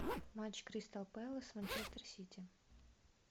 матч кристал пэлас манчестер сити